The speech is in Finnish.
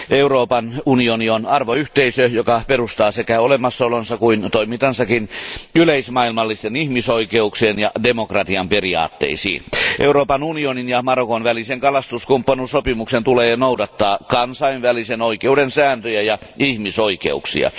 Euroopan unioni on arvoyhteisö, joka perustaa niin olomassaolonsa kuin toimintansakin yleismaailmallisten ihmisoikeuksien ja demokratian periaatteisiin. Euroopan unionin ja Marokon välisen kalastuskumppanuussopimuksen tulee noudattaa kansainvälisen oikeuden sääntöjä ja ihmisoikeuksia.